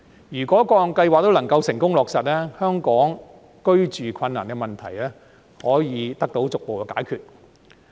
如果各項計劃都能夠成功落實，香港居住困難的問題可以得到逐步解決。